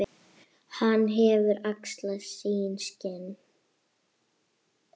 Hann hefur axlað sín skinn.